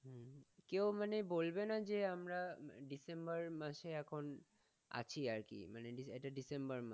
কেও মানে বলবে না যে আমরা december মাসে এখন আছি আর কি এটা December মাস।